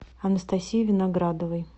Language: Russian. анастасии виноградовой